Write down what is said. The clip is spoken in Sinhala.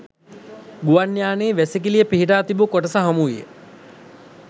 ගුවන් යානයේ වැසිකිළිය පිහිටා තිබූ කොටස හමුවිය